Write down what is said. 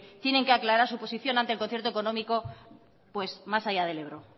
tienen que aclarar su posición ante el concierto económico más allá del ebro